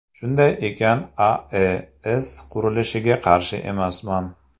Shunday ekan, AES qurilishiga qarshi emasman.